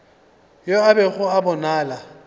yo a bego a bonala